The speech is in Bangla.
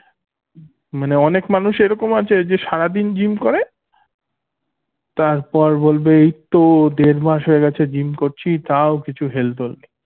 মানে অনেক মানুষ এরকম আছে যে সারাদিন gym করে তারপর বলবে এইতো দেড় মাস হয়ে গেছে gym করছি তাও কিছু হেলদোল নেই